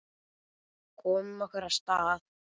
Komum okkur af stað.